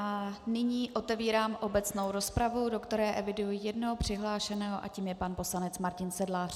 A nyní otevírám obecnou rozpravu, do které eviduji jednoho přihlášeného a tím je pan poslanec Martin Sedlář.